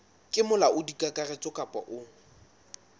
ke molaodi kakaretso kapa o